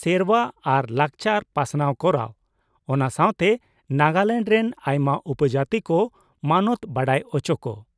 ᱥᱮᱨᱶᱟ ᱟᱨ ᱞᱟᱠᱪᱟᱨ ᱯᱟᱥᱱᱟᱣ ᱠᱚᱨᱟᱣ, ᱚᱱᱟ ᱥᱟᱶᱛᱮ ᱱᱟᱜᱟᱞᱮᱱᱰ ᱨᱮᱱ ᱟᱭᱢᱟ ᱩᱯᱚᱡᱟᱹᱛᱤ ᱠᱚ ᱢᱟᱱᱚᱛ ᱵᱟᱰᱟᱭ ᱚᱪᱚ ᱠᱚ ᱾